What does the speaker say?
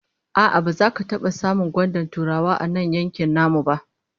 A'a, baza ka taba samun gwandar Turawa a nan yankin namu ba